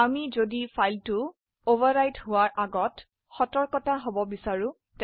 আমি যদি চাই ফাইলটি অভাৰৰাইট আগে আমাাক সতৰ্কবাৰ্তা জানাবে